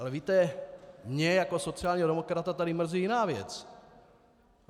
Ale víte, mě jako sociálního demokrata tady mrzí jiná věc.